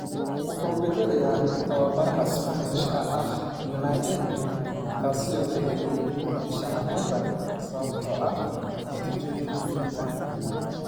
Wuxuu bedelayaa tababaraha Isbaanishka ah Unai Emery, kaasoo la eryay bisha Noveembar sababtoo ah natiijooyin liita.